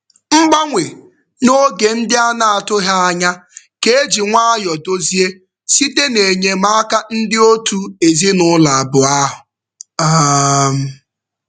Mgbanwe n'oge ndị a na-atụghị anya ka e ji nwayọ dozie site n'enyemaka ndị otu ezinụụlọ abụọ ahụ. um